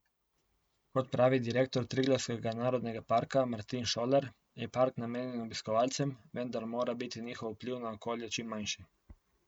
Kot pravi direktor Triglavskega narodnega parka Martin Šolar, je park namenjen obiskovalcem, vendar mora biti njihov vpliv na okolje čim manjši.